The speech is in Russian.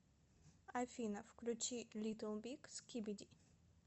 афина включи литл биг скибиди